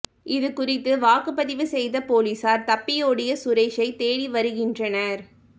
இது குறித்து வழக்குப்பதிவு செய்த பொலிஸார் தப்பியோடிய சுரேஷை தேடி வருகின்றனர்